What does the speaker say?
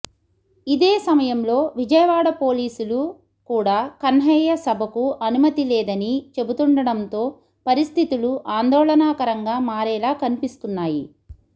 ఇదే సమయంలో విజయవాడ పోలీసులు కూడా కన్హయ్య సభకు అనుమతి లేదని చెబుతుండడంతో పరిస్థితులు ఆందోళనకరంగా మారేలా కనిపిస్తున్నాయి